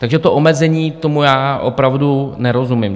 Takže to omezení, tomu já opravdu nerozumím.